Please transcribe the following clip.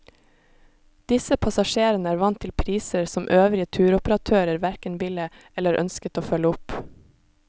Disse passasjerene var vant til priser som øvrige turoperatører hverken ville eller ønsket å følge opp.